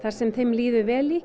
sem þeim líður vel í